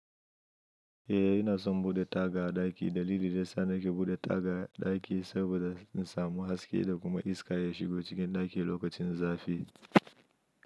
Eh ina son bude taga a ɗaki. Dalili da yasa nake bude taga a ɗaki saboda in samu haske da kuma iska ya shigo cikin ɗaki lokacin zafi.